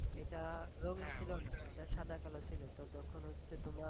এটা এটা সাদা কালো ছিল তো যখন হচ্ছে তোমার,